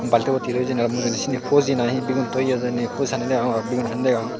baltibot hi toye hijeni mujundi seni fuji na hi bigun toye hijeni fuji sanney degong bigun sanney degong.